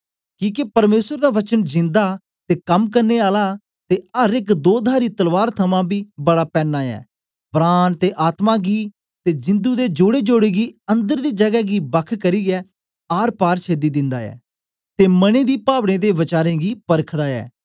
किके परमेसर दा वचन जिंदा ते कम करने आला ते अर एक दोधारी तलवार थमां बी बड़ा पैन्ना ऐ प्राण ते आत्मा गी ते जिदुं दे जोड़ेजोड़े गी अन्दर दी जगै गी बख करियै आरपार छेदी दिन्दा ऐ ते मने दी पावनें ते वचारें गी परखदा ऐ